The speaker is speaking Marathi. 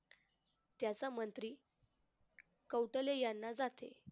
त्याचा मंत्री कौटले यांना जाते.